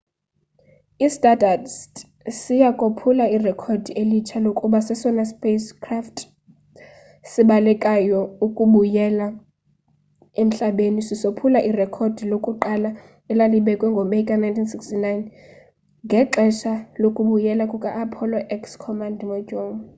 i-stardust siya kophula irekhodi elitsha lokuba sesona sipacecraft sibalekayo ukubuyela emhlabeni sisophula irekhodi lakuqala elalibekwe ngo meyi ka-1969 ngexesha lokubuyela kuka-apollo x command module